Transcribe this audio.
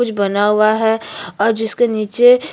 कुछ बना हुआ है और जिसके नीचे --